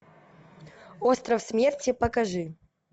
остров смерти покажи